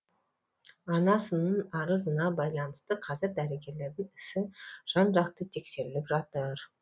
анасының арызына байланысты қазір дәрігерлердің ісі жан жақты тексеріліп жатыр